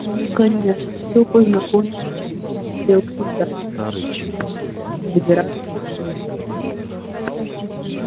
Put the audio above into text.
наконец всё познакомились и стали обсуждать как им добираться до выставки